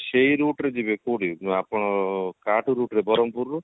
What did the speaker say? ସେଇ route ରେ ଯିବେ କୋଉଠି ନା ଆପଣ route ବରହମପୁର ରୁ